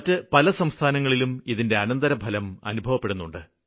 മറ്റു പല സംസ്ഥാനങ്ങളിലും ഇതിന്റെ അനന്തരഫലം അനുഭവപ്പെടുന്നുണ്ട്